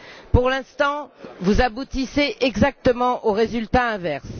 Pour l'instant, vous aboutissez exactement au résultat inverse.